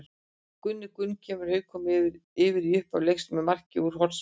Gunni Gunn kemur Haukum yfir í upphafi leiks með marki úr hornspyrnu.